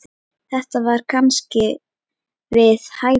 Þetta var kannski við hæfi.